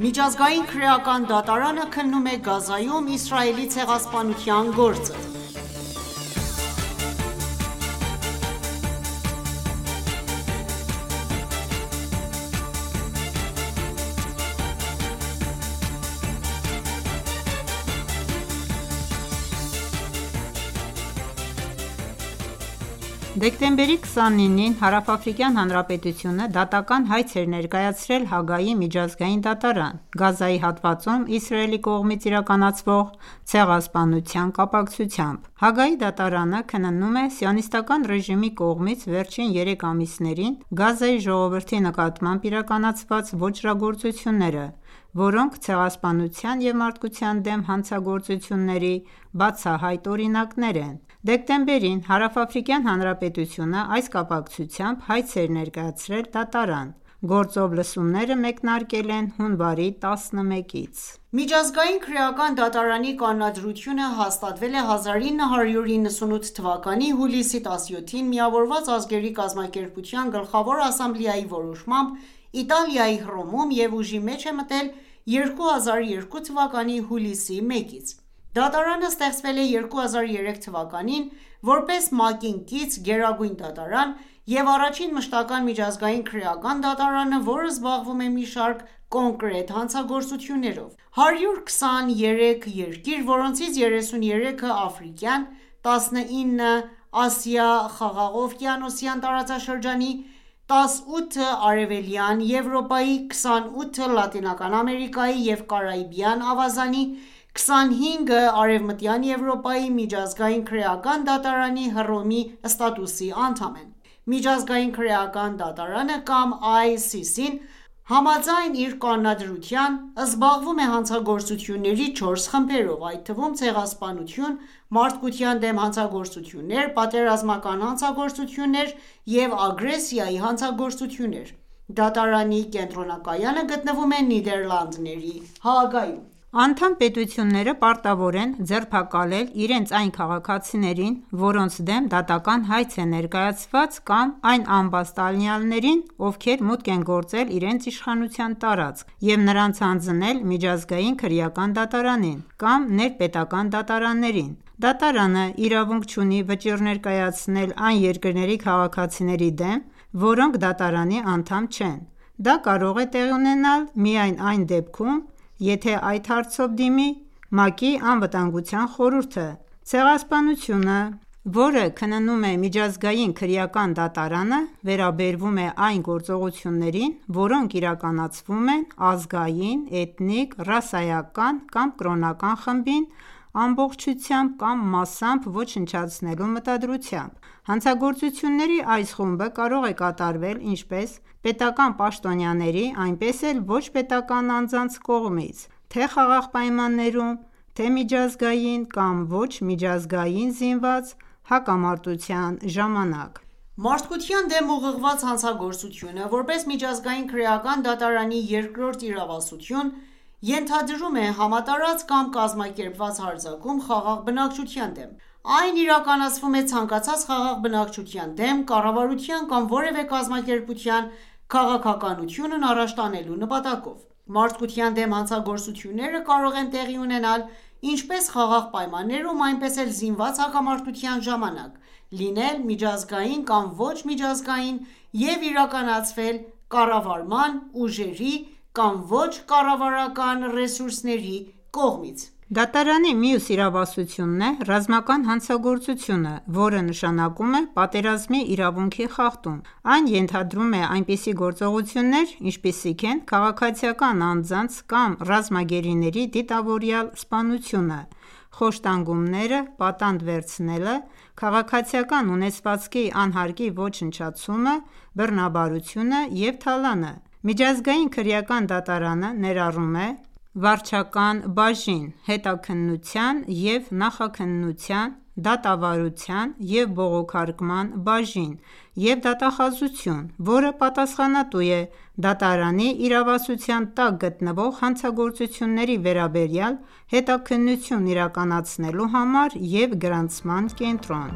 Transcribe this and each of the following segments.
Միջազգային քրեական դատարանը քննում է Գազայում Իսրայելի ցեղասպանության գործը Դեկտեմբերի 29-ին Հարավաֆրիկյան Հանրապետությունը դատական հայց էր ներկայացրել Հաագայի միջազգային դատարան՝ Գազայի հատվածում Իսրայելի կողմից իրականացվող ցեղասպանության կապակցությամբ։ Հաագայի դատարանը քննում է Սիոնիստական ռեժիմի կողմից վերջին երեք ամիսներին Գազայի ժողովրդի նկատմամբ իրականացված ոճրագործությունները, որոնք ցեղասպանության և մարդկության դեմ հանցագործությունների բացահայտ օրինակներն են: Դեկտեմբերին, Հարավաֆրիկյան Հանրապետությունն այս կապակցությամբ հայց էր ներկայացրել դատարան: Գործով լսումները մեկնարկել են հունվարի 11-ից։ Միջազգային քրեական դատարանի կանոնադրությունը հաստատվել է 1998 թվականի հուլիսի 17-ին՝ Միավորված ազգերի կազմակերպության Գլխավոր ասամբլեայի որոշմամբ Իտալիայի Հռոմում, և ուժի մեջ է մտել 2002 թվականի հուլիսի 1-ից: Դատարանը ստեղծվել է 2003 թվականին՝ որպես ՄԱԿ-ին կից Գերագույն դատարան և առաջին մշտական միջազգային քրեական դատարանը, որը զբաղվում է մի շարք կոնկրետ հանցագործություններով: 123 երկիր, որոնցից 33-ը՝ աֆրիկյան, 19-ը՝ Ասիա-խաղաղօվկիանոսյան տարածաշրջանի, 18-ն Արևելյան Եվրոպայի, 28-ը՝ Լատինական Ամերիկայի և Կարիբյան ավազանի, 25-ն Արևմտյան Եվրոպայի, Միջազգային քրեական դատարանի Հռոմի ստատուտի անդամ են: Միջազգային քրեական դատարանը (ICC)-ն, համաձայն իր կանոնադրության զբաղվում է հանցագործությունների 4 խմբերով, այդ թվում՝ ցեղասպանություն, մարդկության դեմ հանցագործություններ, պատերազմական հանցագործություններ և ագրեսիայի հանցագործություններ։ Դատարանի կենտրոնակայանը գտնվում է Նիդերլանդների Հաագայում։ Անդամ պետությունները պարտավոր են ձերբակալել իրենց այն քաղաքացիներին, որոնց դեմ դատական հայց է ներկայացված կամ այն ամբաստանյալներին, ովքեր մուտք են գործել իրենց իշխանության տարածք և նրանց հանձնել Միջազգային քրեական դատարանին, կամ ներպետական դատարաններին: Դատարանը իրավունք չունի վճիռներ կայացնել այն երկրների քաղաքացիների դեմ, որոնք դատարանի անդամ չեն: Դա կարող է տեղի ունենալ միայն այն դեպքում, եթե այդ հարցով դիմի ՄԱԿ-ի Անվտանգության խորհուրդը: Ցեղասպանությունը, որը քննում է Միջազգային քրեական դատարանը, վերաբերվում է այն գործողություններին, որոնք իրականացվում են ազգային, էթնիկ, ռասայական կամ կրոնական խմբին ամբողջությամբ կամ մասամբ ոչնչացնելու մտադրությամբ։ Հանցագործությունների այս խումբը կարող է կատարվել ինչպես պետական պաշտոնյաների, այնպես էլ ոչ պետական անձանց կողմից, թե՝ խաղաղ պայմաններում, թե՝միջազգային կամ ոչ միջազգային զինված հակամարտության ժամանակ։ Մարդկության դեմ ուղղված հանցագործությունը՝ որպես Միջազգային քրեական դատարանի երկրորդ իրավասություն, ենթադրում է համատարած կամ կազմակերպված հարձակում խաղաղ բնակչության դեմ: Այն իրականացվում է ցանկացած խաղաղ բնակչության դեմ՝ կառավարության կամ որևէ կազմակերպության քաղաքականությունն առաջ տանելու նպատակով: Մարդկության դեմ հանցագործությունները կարող են տեղի ունենալ ինչպես խաղաղ պայմաններում, այնպես էլ զինված հակամարտության ժամանակ, լինել միջազգային կամ ոչ միջազգային և իրականացվել կառավարական ուժերի կամ ոչ կառավարական ռեսուրսների կողմից: Դատարանի մյուս իրավասությունն է ռազմական հանցագործությունը, որը, նշանակում է պատերազմի իրավունքի խախտում: Այն ենթադրում է այնպիսի գործողություններ, ինչպիսիք են քաղաքացիական անձանց կամ ռազմագերիների դիտավորյալ սպանությունը, խոշտանգումները, պատանդ վերցնելը, քաղաքացիական ունեցվածքի անհարկի ոչնչացումը, բռնաբարությունը և թալանը: Միջազգային քրեական դատարանը ներառում է վարչական բաժին, հետաքննության և նախաքննության. դատավարության և բողոքարկման բաժին և դատախազություն, որը պատասխանատու է դատարանի իրավասության տակ գտնվող հանցագործությունների վերաբերյալ հետաքննություն իրականացնելու համար և գրանցման կենտրոն։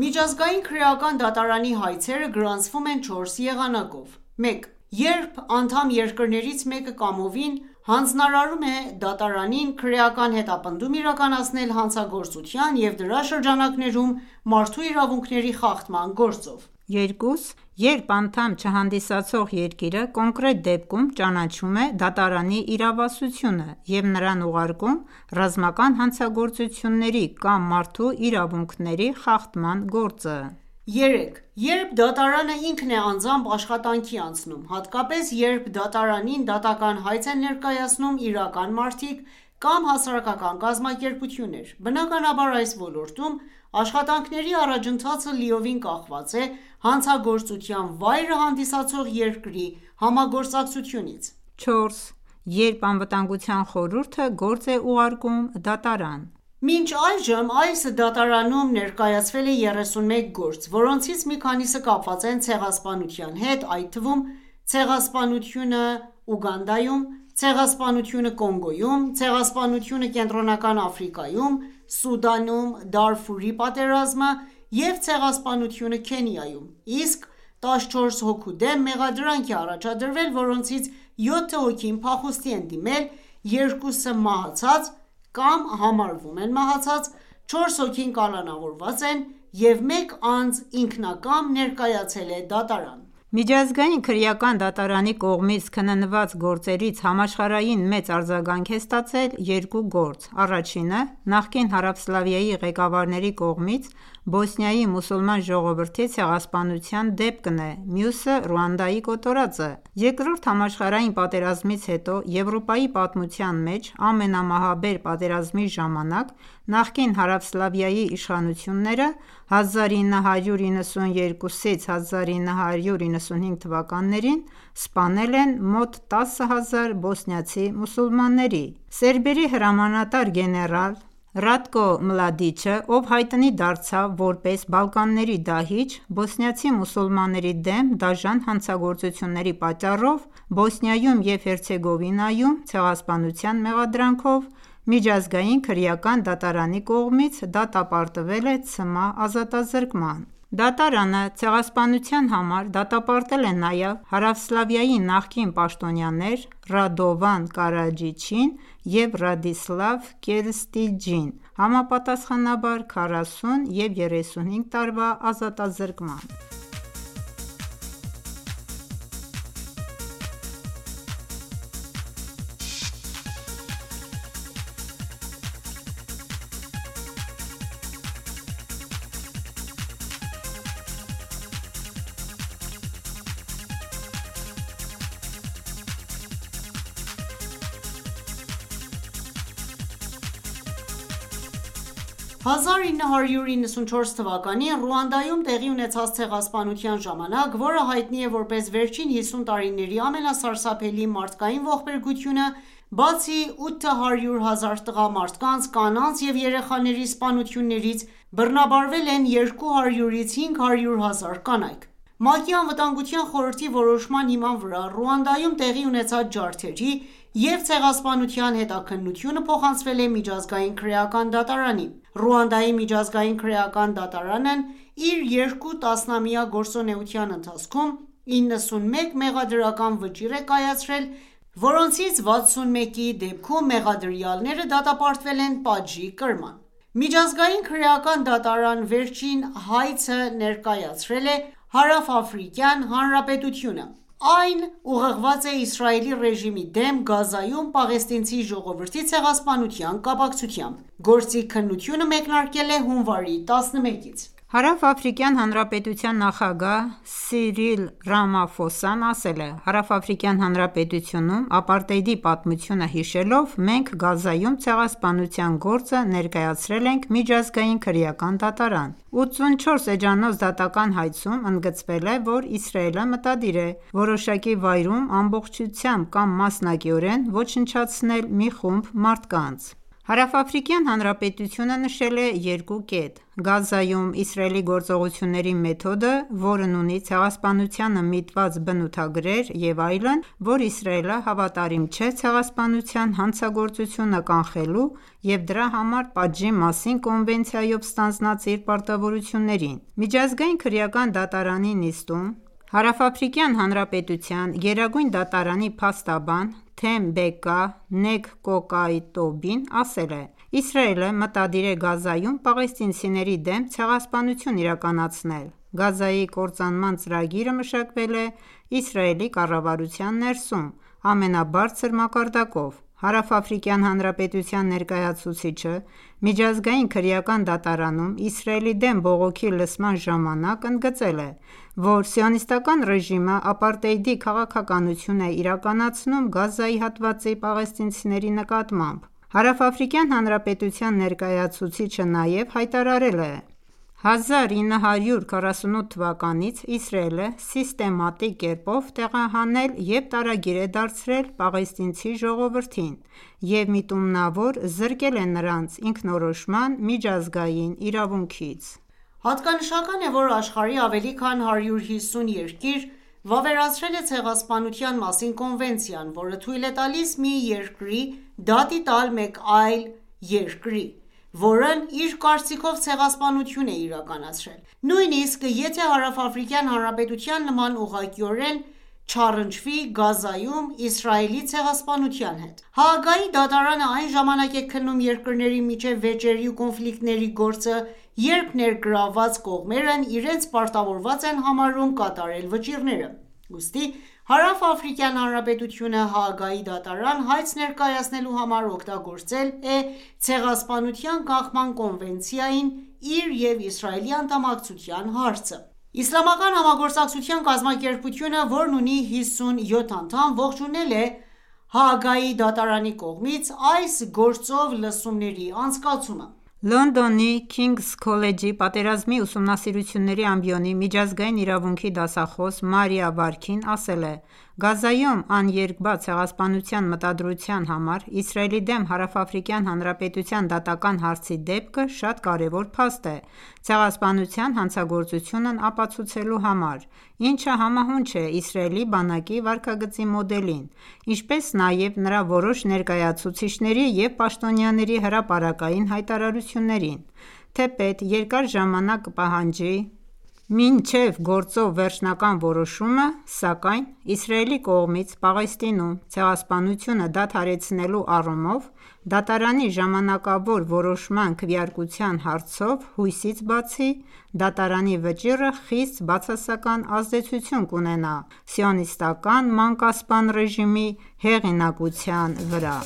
Միջազգային քրեական դատարանի հայցերը գրանցվում են չորս եղանակով 1 - Երբ անդամ երկրներից մեկը կամովին հանձնարարում է դատարանին քրեական հետապնդում իրականացնել հանցագործության և դրա շրջանակներում մարդու իրավունքների խախտման գործով: 2- Երբ անդամ չհանդիսացող երկիրը, կոնկրետ դեպքում, ճանաչում է դատարանի իրավասությունը և նրան ուղարկում ռազմական հանցագործությունների կամ մարդու իրավունքների խախտման գործը։ 3- Երբ դատարանը ինքն է անձամբ աշխատանքի անցնում: Հատկապես, երբ դատարանին դատական հայց են ներկայացնում իրական մարդիկ կամ հասարակական կազմակերպություններ, բնականաբար, այս ոլորտում աշխատանքների առաջընթացը լիովին կախված է հանցագործության վայրը հանդիսացող երկրի համագործակցությունից։ 4- Երբ Անվտանգության խորհուրդը գործ է ուղարկում դատարան։ Մինչ այժմ այս դատարանում ներկայացվել է 31 գործ, որոնցից մի քանիսը կապված են ցեղասպանության հետ, այդ թվում՝ ցեղասպանությունը Ուգանդայում, ցեղասպանությունը Կոնգոյում, ցեղասպանությունը Կենտրոնական Աֆրիկայում, Սուդանում՝ Դարֆուրի պատերազմը և ցեղասպանությունը Քենիայում, իսկ 14 հոգու դեմ մեղադրանք է առաջադրվել, որոնցից 7 հոգին փախուստի են դիմել, 2-ը՝ մահացած (կամ համարվում են մահացած), 4 հոգին կալանավորված են, և մեկ անձ ինքնակամ ներկայացել է դատարան։ Միջազգային քրեական դատարանի կողմից քննված գործերից համաշխարհային մեծ արձագանք է ստացել երկու գործ: Առաջինը նախկին Հարավսլավիայի ղեկավարների կողմից Բոսնիայի մուսուլման ժողովրդի ցեղասպանության դեպքն է, մյուսը՝ Ռուանդայի կոտորածը: Երկրորդ համաշխարհային պատերազմից հետո Եվրոպայի պատմության մեջ ամենամահաբեր պատերազմի ժամանակ նախկին Հարավսլավիայի իշխանությունները 1992-ից 1995 թվականներին սպանել են մոտ տասը հազար բոսնիացի մուսուլմանների: Սերբերի հրամանատար գեներալ Ռատկո Մլադիչը, ով հայտնի դարձավ որպես Բալկանների դահիճ՝ բոսնիացի մուսուլմանների դեմ դաժան հանցագործությունների պատճառով, Բոսնիայում և Հերցեգովինայում ցեղասպանության մեղադրանքով միջազգային քրեական դատարանի կողմից դատապարտվել է ցմահ ազատազրկման։ Դատարանը ցեղասպանության համար դատապարտել է նաև Հարավսլավիայի նախկին պաշտոնյաներ Ռադովան Կարաջիչին և Ռադիսլավ Կերստիջին, համապատասխանաբար 40 և 35 տարվա ազատազրկման։ 1994 թվականին Ռուանդայում տեղի ունեցած ցեղասպանության ժամանակ, որը հայտնի է որպես վերջին 50 տարիների ամենասարսափելի մարդկային ողբերգությունը, բացի 800 հազար տղամարդկանց, կանանց և երեխաների սպանություններից, բռնաբարվել են 200-ից 500-հազար կանայք: ՄԱԿ-ի Անվտանգության խորհրդի որոշման հիման վրա Ռուանդայում տեղի ունեցած ջարդերի և ցեղասպանության հետաքննությունը փոխանցվել է Միջազգային քրեական դատարանին։ Ռուանդայի միջազգային քրեական դատարանն իր երկու տասնամյա գործունեության ընթացքում 91 մեղադրական վճիռ է կայացրել, որոնցից 61-ի դեպքում մեղադրյալները դատապարտվել են պատժի կրման: Միջազգային քրեական դատարան վերջին հայցը ներկայացրել է Հարավաֆրիկյան Հանրապետությունը: Այն ուղղված է Իսրայելի ռեժիմի դեմ՝ Գազայում պաղեստինցի ժողովրդի ցեղասպանության կապակցությամբ: Գործի քննությունը մեկնարկել է հունվարի 11-ից։ Հարավաֆրիկյան Հանրապետության նախագահ Սիրիլ Ռամաֆոսան ասել է. «Հարավաֆրիկյան Հանրապետությունում ապարտեիդի պատմությունը հիշելով, մենք Գազայում ցեղասպանության գործը ներկայացրել ենք Միջազգային քրեական դատարան»: 84 էջանոց դատական հայցում ընդգծվել է, որ Իսրայելը մտադիր է որոշակի վայրում ամբողջությամբ կամ մասնակիորեն ոչնչացնել մի խումբ մարդկանց։ Հարավաֆրիկյան Հանրապետությունը նշել է երկու կետ. «Գազայում Իսրայելի գործողությունների մեթոդը, որն ունի ցեղասպանությանը միտված բնութագրեր» և այն, որ «Իսրայելը հավատարիմ չէ Ցեղասպանության հանցագործությունը կանխելու և դրա համար պատժի մասին կոնվենցիայով ստանձնած իր պարտավորություններին»: Միջազգային քրեական դատարանի նիստում, Հարավաֆրիկյան Հանրապետության գերագույն դատարանի փաստաբան Թեմբեկա Նեգկոկայտոբին ասել է. «Իսրայելը մտադիր է Գազայում պաղեստինցիների դեմ ցեղասպանություն իրականացնել: Գազայի կործանման ծրագիրը մշակվել է Իսրայելի կառավարության ներսում՝ ամենաբարձր մակարդակով»: Հարավաֆրիկյան Հանրապետության ներկայացուցիչը Միջազգային քրեական դատարանում Իսրայելի դեմ բողոքի լսման ժամանակ ընդգծել է, որ սիոնիստական ռեժիմը ապարտեիդի քաղաքականություն է իրականացնում Գազայի հատվածի պաղեստինցիների նկատմամբ։ Հարավաֆրիկյան Հանրապետության ներկայացուցիչը նաև հայտարարել է.« 1948 թվականից Իսրայելը սիստեմատիկ կերպով տեղահանել և տարագիր է դարձրել պաղեստինցի ժողովրդին և միտումնավոր զրկել է նրանց ինքնորոշման միջազգային իրավունքից»: Հատկանշական է, որ աշխարհի ավելի քան 150 երկիր վավերացրել է Ցեղասպանության մասին կոնվենցիան, որը թույլ է տալիս մի երկրի դատի տալ մեկ այլ երկրի, որն իր կարծիքով ցեղասպանություն է իրականացրել, նույնիսկ եթե Հարավաֆրիկյան Հանրապետության նման, ուղղակիորեն չառընչվի Գազայում Իսրայելի ցեղասպանության հետ։ Հաագայի դատարանը այն ժամանակ է քննում երկրների միջև վեճերի ու կոնֆլիկտների գործը, երբ ներգրավված կողմերն իրենց պարտավորված են համարում կատարել վճիռները: Ուստի Հարավաֆրիկյան Հանրապետությունը Հաագայի դատարան հայց ներկայացնելու համար օգտագործել Ցեղասպանության կանխման կոնվցենցիային իր և Իսրայելի անդամակցության հարցը: Իսլամական համագործակցության կազմակերպությունը, որն ունի 57 անդամ, ողջունել է Հաագայիօ դատարանի կողմից այս գործով լսումների անցկացումը: Լոնդոնի Քինգս քոլեջի Պատերազմի ուսումնասիրությունների ամբիոնի միջազգային իրավունքի դասախոս Մարիա Վարքին ասել է. «Գազայում «Աներկբա Ցեղասպանության մտադրության» համար Իսրայելի դեմ Հարավաֆրիկյան Հանրապետության դատական հայցի դեպքը շատ կարևոր փաստ է՝ ցեղասպանության հանցագործությունն ապացուցելու համար, ինչը համահունչ է Իսրայելի բանակի վարքագծի մոդելին, ինչպես նաև նրա որոշ ներկայացուցիչների և պաշտոնյաների հրապարակային հայտարարություններին։ Թեպետ երկար ժամանակ կպահանջի մինչև գործով վերջնական որոշումը, սակայն Իսրայելի կողմից Պաղեստինում ցեղասպանությունը դադարեցնելու առումով դատարանի ժամանակավոր որոշման քվեարկության հարցով հույսից բացի, դատարանի վճիռը խիստ բացասական ազդեցություն կունենա Սիոնիստական մանկասպան ռեժիմի հեղինակության վրա։